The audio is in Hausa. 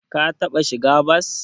Ka taɓa shiga bas?